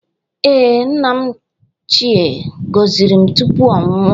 Ee, nna m ochịe gọziri m tupu ọ nwụọ